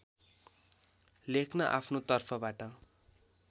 लेख्न आफ्नो तर्फबाट